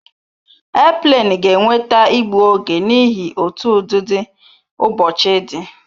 Airplane ga enweta igbu oge n'ihi otú ụdịdị ụbọchị di